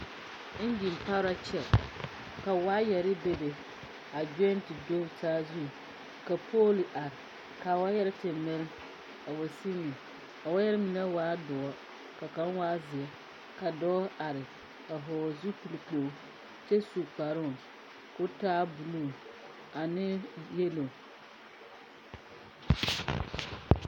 Engyi pare la kyɛ ka wayare bebe a Geo te do saazu ka pooli are ka wayare te mili a wa sigri a waya mine waa doɔre ka kaŋ waa zeere ka dɔɔ are a vɔgle zupili kyɛ su kpare ka o taa buluu ane yɛlo.